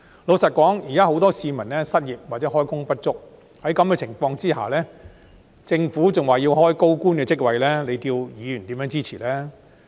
老實說，現時很多市民失業或開工不足，在此情況下，政府若仍表示要開設高官職位，叫議員如何支持呢？